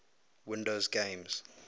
windows games